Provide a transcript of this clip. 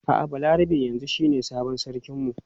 A'a Balarabe yanzu shine sabon sarkin mu.